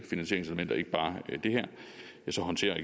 finansieringselementer ikke bare det her så håndterer